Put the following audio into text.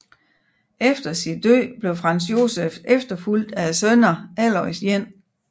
Efter sin død blev Franz Josef efterfulgt af sønnerne Aloys 1